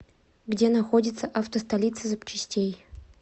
где находится авто столица запчастей